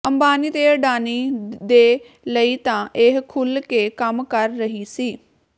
ਅੰਬਾਨੀ ਤੇ ਅਡਾਨੀ ਦੇ ਲਈ ਤਾਂ ਇਹ ਖੁੱਲ੍ਹ ਕੇ ਕੰਮ ਕਰ ਰਹੀ ਸੀ